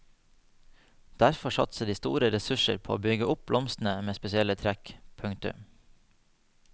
Derfor satser de store ressurser på å bygge opp blomster med spesielle trekk. punktum